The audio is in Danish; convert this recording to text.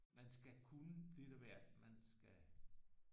Man skal kunne lidt af hvert man skal